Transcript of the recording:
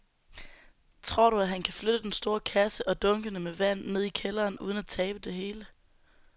Tror du, at han kan flytte den store kasse og dunkene med vand ned i kælderen uden at tabe det hele?